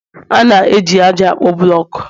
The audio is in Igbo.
A na-eji ájá akpo buloku